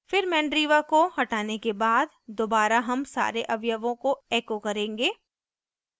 फिर mandriva को हटाने के बाद दोबारा हम सारे अवयवों को echo करेंगे